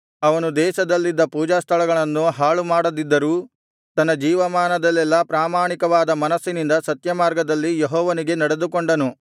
ಅವನು ದೇಶದಲ್ಲಿದ್ದ ಪೂಜಾಸ್ಥಳಗಳನ್ನು ಹಾಳುಮಾಡದಿದ್ದರೂ ತನ್ನ ಜೀವಮಾನದಲ್ಲೆಲ್ಲಾ ಪ್ರಾಮಾಣಿಕವಾದ ಮನಸ್ಸಿನಿಂದ ಸತ್ಯಮಾರ್ಗದಲ್ಲಿ ಯೆಹೋವನಿಗೆ ನಡೆದುಕೊಂಡನು